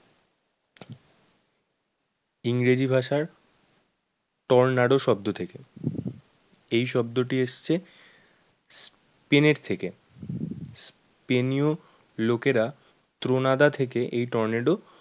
ইংরেজি ভাষার tornado শব্দ থেকে এই শব্দটি এসছে প্রেনেট থেকে লোকেরা ত্রনাদা থেকে এই টর্নেডো